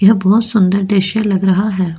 यह बहुत सुंदर दृश्य लग रहा है।